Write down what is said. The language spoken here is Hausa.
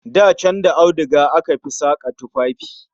Da can da auduga aka fi saka tufafi